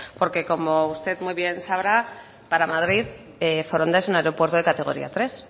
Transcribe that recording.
porque como usted muy bien sabrá para madrid foronda es un aeropuerto de categoría tres